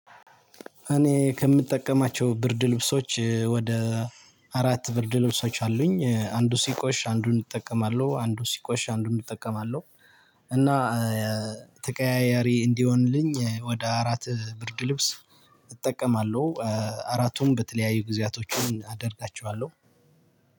እኔ ከምጠቀማቸው ብርድ ልብሶች ወደ አራት ብርድ ልብሶች አሉኝ አንዱ ሲቆሽሽ አንዱን እጠቀማለሁ አንዱን ሲቆሽሽ አንዱን እጠቀማለሁ እና ተቀያያሪ እንዲሆንልኝ ወደ አራት ብርድ ልብስ እጠቀማለሁ። አራቱን በተለያዩ ጊዜያቶችም አደርጋቸዋለሁ።